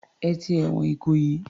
Ẹ ti ẹ̀wọ̀n Ìkòyí.